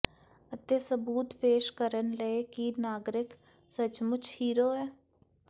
ਅਤੇ ਸਬੂਤ ਪੇਸ਼ ਕਰਨ ਲਈ ਕਿ ਨਾਗਰਿਕ ਸੱਚਮੁਚ ਹੀਰੋ ਹੈ